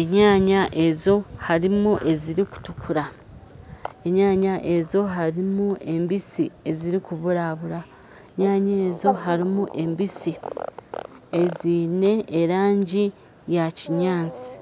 enyaanya ezo harumu ezirukutukura enyaanya ezo harumu embisi ezirukuburabura enyaanya ezo harumu embisi ezine erangi ya kinyaantsi .